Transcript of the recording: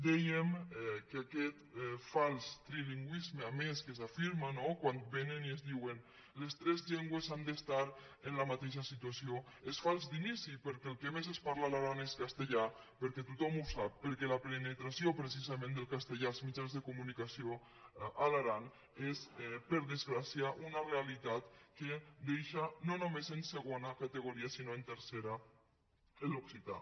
dèiem que aquest fals trilingüisme a més que s’afir·ma no quan vénen i ens diuen les tres llengües han d’estar en la mateixa situació és fals d’inici perquè el que més es parla a l’aran és castellà perquè tothom ho sap perquè la penetració precisament del castellà als mitjans de comunicació a l’aran és per desgràcia una realitat que deixa no només en segona categoria sinó en tercera l’occità